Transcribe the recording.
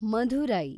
Madurai